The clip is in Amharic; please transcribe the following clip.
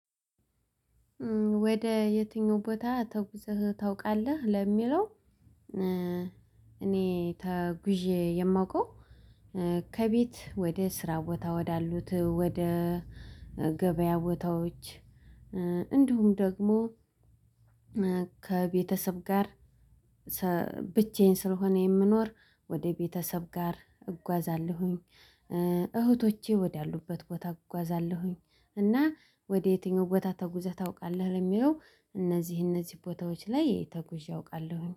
ወደ የትኛው ቦታ ተውቃለህ ለሚለው? እኔ ተጉዤ የማውቀው። ከቤት ወደ ስራ ቦታ ወዳሉት ወደ ገበያ ቦታዎች። እንዲሁም ደግሞ ከቤተሰብ ጋር። ብቻዬን ስለሆነ የምኖር ወደ ቤተሰብ ጋር እጓዛለሁኝ። እህቶቼ ወዳሉበት ቦታ እጓዛለሁኝ። እና ወደ የትኛው ቦታ ተጉዘህ ታውቃለህ ለሚለው? እነዚህ እነዚህ ቦታዎች ላይ ተጉዤ አውቃለሁኝ